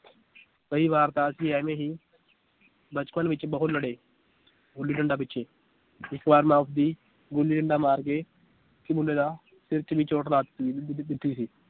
ਕਈ ਵਾਰ ਤਾਂ ਅਸੀਂ ਐਵੇਂ ਹੀ ਬਚਪਨ ਵਿਚ ਬਹੁਤ ਲੜੇ ਗੁੱਲੀ ਡੰਡਾ ਪਿਛੇ ਇੱਕ ਵਾਰ ਮੈ ਉਸਦੀ ਗੁੱਲੀ ਡੰਡਾ ਮਾਰ ਕੇ ਇੱਕ ਮੁੰਡੇ ਦਾ ਸਿਰ ਚ ਇੰਨੀ ਚੋਟ